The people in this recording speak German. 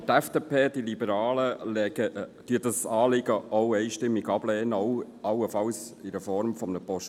Aber die FDP, die Liberalen, lehnen dieses Anliegen ebenfalls einstimmig ab, auch in der Form eines Postulats.